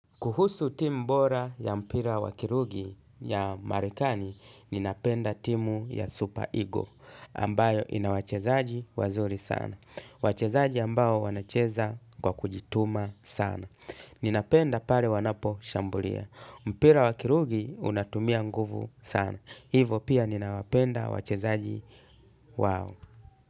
Kuhusu timu bora ya mpira wakiruji ya marekani, ninapenda timu ya Super Eggle, ambayo ina wachezaji wazuri sana. Wachezaji ambao wanacheza kwa kujituma sana. Ninapenda pale wanaposhambulia. Mpira wakirugi unatumia nguvu sana. Hivo pia ninapenda wachezaji wao.